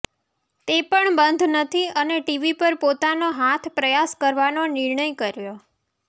તે પણ બંધ નથી અને ટીવી પર પોતાનો હાથ પ્રયાસ કરવાનો નિર્ણય કર્યો